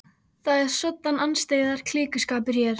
Það er svoddan andstyggðar klíkuskapur hér!